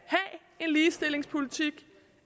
en ligestillingspolitik